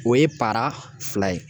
O ye paara fila ye